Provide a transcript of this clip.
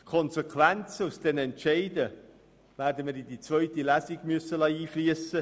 Die Konsequenzen aus diesen Entscheiden werden wir in die zweite Lesung einfliessen lassen.